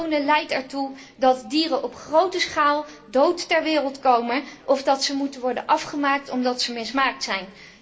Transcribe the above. Klonen leidt ertoe dat dieren op grote schaal dood ter wereld komen of dat ze moeten worden afgemaakt omdat ze mismaakt zijn.